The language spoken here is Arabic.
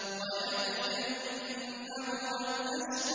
وَيَتَجَنَّبُهَا الْأَشْقَى